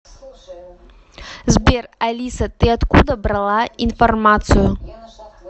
сбер алиса ты откуда брала информацию